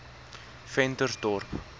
ventersdorp